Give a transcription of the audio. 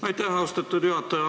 Aitäh, austatud juhataja!